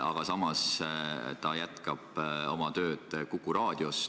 Aga samas jätkab ta tööd Kuku Raadios.